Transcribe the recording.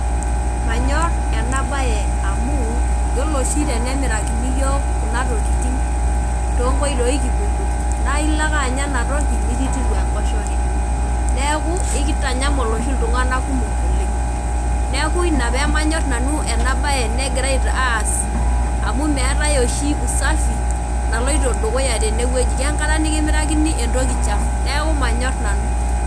Manyor enabae amu yiolo oshi tenemirakini yiok kunatokitin tonkoitoi kipoito nailo ake anya enatoki nikitiru enkosheke neaku kitanyamal oshi ltunganak kumok oleng neaku ina pamanyor nanu enabae tenigirai aas amu meetae oshi usafi naloito tenewueji kengata nikimarikini entoki chafu neaku manyor nanu.